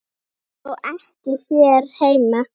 Þó ekki hér heima.